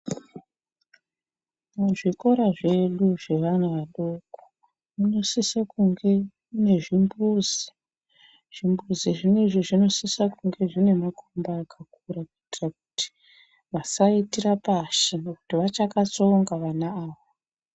Muzvikora zvedu zvevana vadoko munosise kunge mune zvimbuzi. Zvimbuzi zvinezvi zvinosisa kunge zvine makomba akakura kuitira kuti vasaitira pashi ngekuti vachakatsonga vana ava.